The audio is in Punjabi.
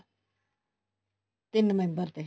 ਤਿੰਨ member ਤੇ